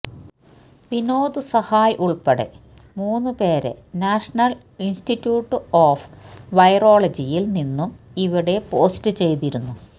വിനോദ് സഹായ് ഉള്പ്പെടെ മൂന്നു പേരെ നാഷണല് ഇന്സ്റ്റിറ്റ്യൂട്ട് ഓഫ് വൈറോളജിയില് നിന്നും ഇവിടെ പോസ്റ്റു ചെയ്തിരുന്നു